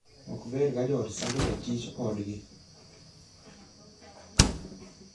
Ok ber ka joot sando jatij odgi.